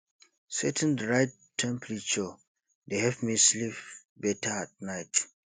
setting the right temperature dey help me sleep better at night